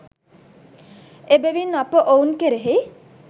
එබැවින් අප ඔවුන් කෙරෙහි